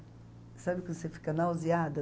Sabe quando você fica nauseada?